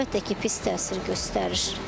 Əlbəttə ki, pis təsir göstərir.